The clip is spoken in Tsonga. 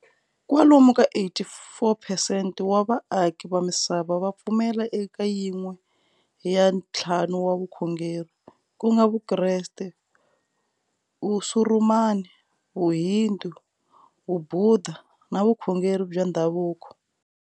Kwalomu ka 84 percent wa va aki va misava va pfumela eka yin'we ya nthlanu wa vukhongeri, kunga Vukreste, Vusurumani, Vuhindu, Vubhudha na vukhongeri bya ndzhavuko.